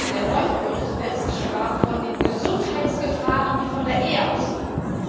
Der Noichl Bericht zuletzt sprach von den Gesundheitsgefahren, die von der Ehe ausgehen.